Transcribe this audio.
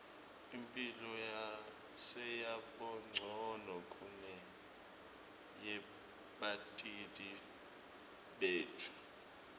imphilo seyabancono kuneyebatali betfu